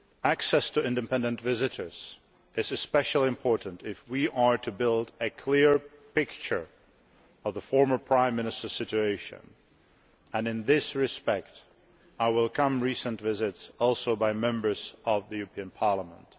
Access to independent visitors is especially important if we are to build a clear picture of former Prime Minister Tymoshenko's situation, and in this respect I welcome recent visits, including by Members of the European Parliament.